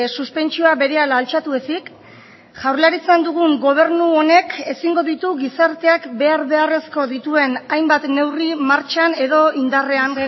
suspentsioa berehala altxatu ezik jaurlaritzan dugun gobernu honek ezingo ditu gizarteak behar beharrezko dituen hainbat neurri martxan edo indarrean